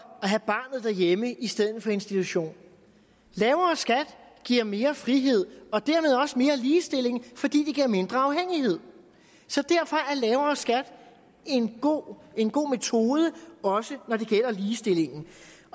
at have barnet derhjemme i stedet for i institution lavere skat giver mere frihed og dermed også mere ligestilling fordi det giver mindre afhængighed så derfor er lavere skat en god en god metode også når det gælder ligestillingen